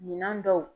Minan dɔw